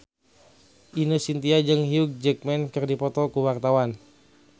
Ine Shintya jeung Hugh Jackman keur dipoto ku wartawan